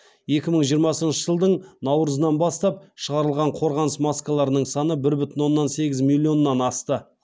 екі мың жиырмасыншы жылдың наурызынан бастап шығарылған қорғаныс маскаларының саны бір бүтін оннан сегіз миллионнан асты